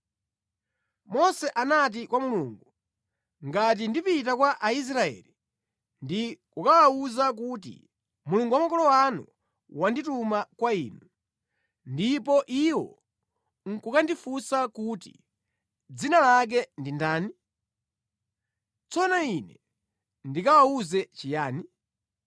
Mose anati kwa Mulungu, “Ngati ndipita kwa Aisraeli ndi kukawawuza kuti, ‘Mulungu wa makolo anu wandituma kwa inu,’ ndipo iwo nʼkukandifunsa kuti ‘Dzina lake ndi ndani?’ Tsono ine ndikawawuze chiyani?”